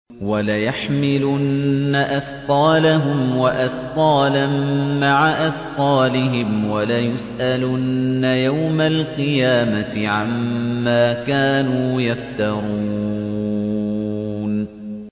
وَلَيَحْمِلُنَّ أَثْقَالَهُمْ وَأَثْقَالًا مَّعَ أَثْقَالِهِمْ ۖ وَلَيُسْأَلُنَّ يَوْمَ الْقِيَامَةِ عَمَّا كَانُوا يَفْتَرُونَ